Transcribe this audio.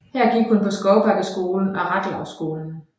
Her gik hun på Skovbakkeskolen og Rathlouskolen